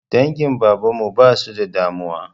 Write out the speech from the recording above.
Dangin baban mu ba su da damuwa.